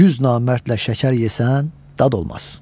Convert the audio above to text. Yüz namərdlə şəkər yesən dad olmaz.